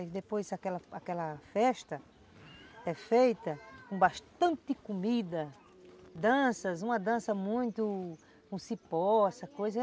E depois aquela aquela festa é feita com bastante comida, danças, uma dança muito com cipó, essa coisa.